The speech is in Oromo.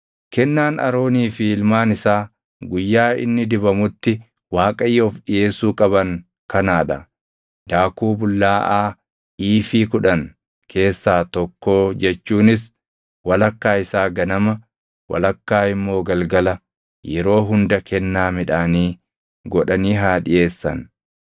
“Kennaan Aroonii fi ilmaan isaa guyyaa inni dibamutti Waaqayyoof dhiʼeessuu qaban kanaa dha: Daakuu bullaaʼaa iifii + 6:20 Iifiin tokko kiiloo giraamii 22. kudhan keessaa tokkoo jechuunis walakkaa isaa ganama, walakkaa immoo galgala yeroo hunda kennaa midhaanii godhanii haa dhiʼeessan.